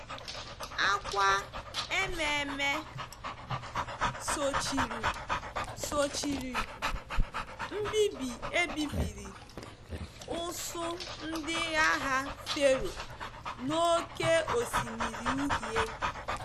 Akwa ememe sochiri sochiri mbibi e bibiri usuu ndị agha Fero n’Oké Osimiri Uhie.